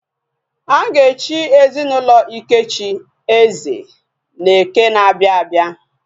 Aga echi ezinaulo Ikechi, eze, na eke na abia abia